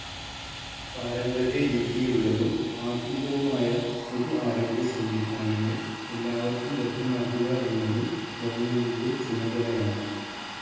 പാരമ്പര്യരീതിയിലുള്ളതും ആധുനികവുമായ പൊതു ആരോഗ്യ സംവിധാനങ്ങൾ എല്ലാവർക്കും ലഭ്യമാക്കുക എന്നതും ഗവണ്മെന്റിന്റെ ചുമതലയാണ്.